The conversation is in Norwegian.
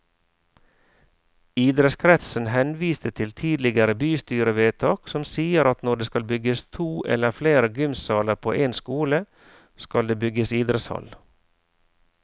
Idrettskretsen henviste til tidligere bystyrevedtak som sier at når det skal bygges to eller flere gymsaler på en skole, skal det bygges idrettshall.